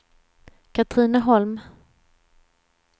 Katrineholm